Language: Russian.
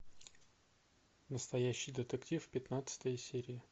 настоящий детектив пятнадцатая серия